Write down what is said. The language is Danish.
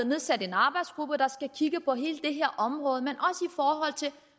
nedsat en arbejdsgruppe der skal kigge på hele det her område